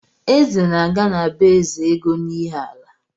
Eze na-aga na be Ezeego n'Iheala